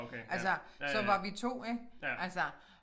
Altså så var vi 2 ik altså